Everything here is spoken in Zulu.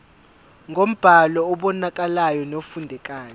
ngombhalo obonakalayo nofundekayo